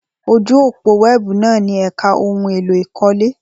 Ojú òpó wẹ́ẹ̀bù náà ní ẹ̀ka ohun èlò ìkọ́lé.